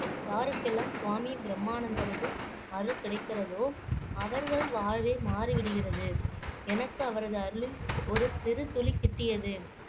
யாருக்கெல்லாம் சுவாமி பிரம்மானந்தனது அருள் கிடைக்கிறதோ அவர்கள் வாழ்வே மாறிவிடுகிறது எனக்கு அவரது அருளில் ஒரு சிறு துளி கிட்டியது